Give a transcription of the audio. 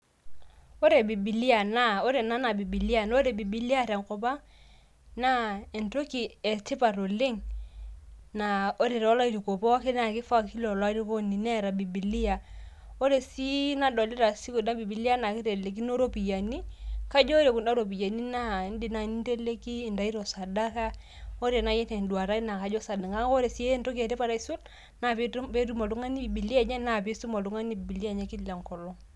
Ore ena naa bibilia, ore bibilia te nkop ang naa entoki e tipat oleng, naa ore too lairukok pooki naa kifaa olairukoni Neeta bibilia, ore sii nadolita sii ena bibilia naa kitelekino iropiyiani, naa inteleki intaito sadaka, kake ore naaji te duata ai Naa kajo sadaka, kake ore naaji entoki etipat aisul, naa peetum oltungani bibilia enye naa pee eisuma oltungani bibilia enye Kila enkolong.